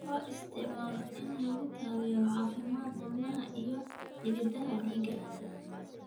Loo isticmaalo in lagu taageero caafimaadka wadnaha iyo xididdada dhiigga.